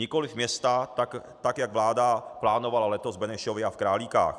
Nikoliv města, tak jak vláda plánovala letos v Benešově a v Králíkách.